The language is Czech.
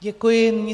Děkuji.